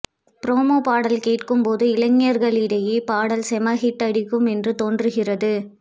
promo பாடல் கேட்கும் போது இளைஞர்களிடையே பாடல் செம ஹிட் அடிக்கும் என்று தோன்றுகிறது